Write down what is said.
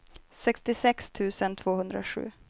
sextiosex tusen tvåhundrasju